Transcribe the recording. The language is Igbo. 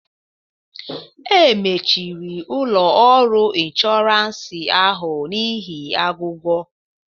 E mechiri ụlọ ọrụ inshọransị ahụ n'ihi aghụghọ